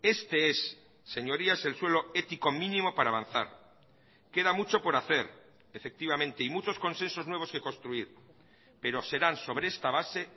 este es señorías el suelo ético mínimo para avanzar queda mucho por hacer efectivamente y muchos consensos nuevos que construir pero serán sobre esta base